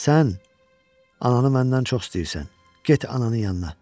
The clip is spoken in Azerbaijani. Sən ananı məndən çox istəyirsən, get ananın yanına!